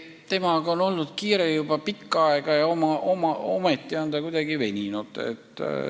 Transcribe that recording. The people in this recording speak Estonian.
Sellega on olnud kiire juba pikka aega ja ometi on see kuidagi veninud.